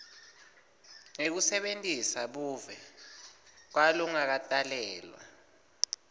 ngekusebentisa buve kwalongakatalelwa